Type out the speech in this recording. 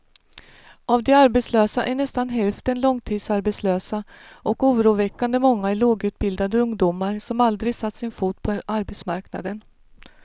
Av de arbetslösa är nästan hälften långtidsarbetslösa och oroväckande många är lågutbildade ungdomar som aldrig satt sin fot på arbetsmarknaden.